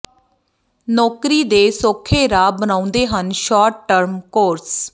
ਨੌਕਰੀ ਦੇ ਸੌਖੇ ਰਾਹ ਬਣਾਉਂਦੇ ਹਨ ਸ਼ਾਰਟ ਟਰਮ ਕੋਰਸ